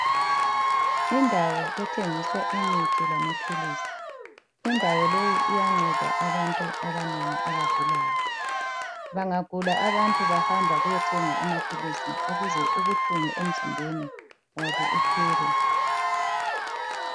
Indawo ethengiswa imithi lamaphilisi .Indawo leyi iyanceda abantu abanengi abagulayo. Bangagula abantu bahamba kuyathenga amaphilisi ukuze ubuhlungu emzimbeni wabo buphele.